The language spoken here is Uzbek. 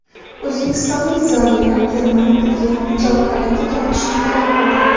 O‘zbekistonlik ziyolilar Telman Gdlyanni javobgarlikka tortishni talab qildi.